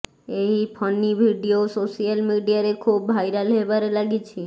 ଏହି funny video social ମିଡିଆରେ ଖୁବ୍ ଭାଇରାଲ ହେବାରେ ଲାଗିଛି